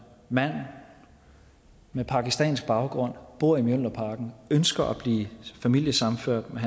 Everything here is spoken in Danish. mand med pakistansk baggrund bor i mjølnerparken og ønsker at blive familiesammenført med